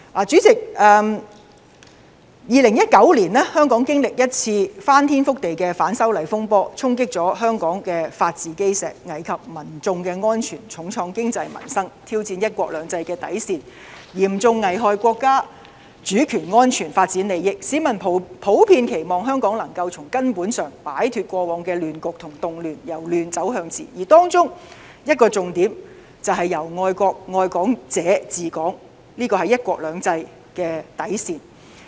主席，在2019年，香港經歷一次翻天覆地的反修例風波，衝擊香港的法治基石，危及民眾的安全，重創經濟和民生，挑戰"一國兩制"的底線，嚴重危害國家主權安全和發展利益，市民普遍期望香港能夠從根本擺脫過往的亂局和動亂，由亂走向治；而當中一個重點便是由愛國愛港者治港，這是"一國兩制"的底線。